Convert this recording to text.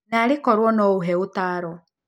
Na arĩ korũo no ihe ũtaaro